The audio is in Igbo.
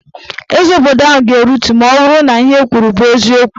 Eze obodo ahụ ga-aritu maọbụrụ na ihe ekwuru bụ eziokwu